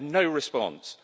I had no response.